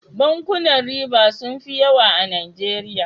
Bankunan riba sun fi yawa a najeriya